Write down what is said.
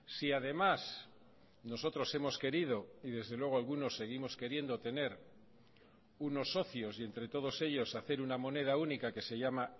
si además nosotros hemos querido y desde luego algunos seguimos queriendo tener unos socios y entre todos ellos hacer una moneda única que se llama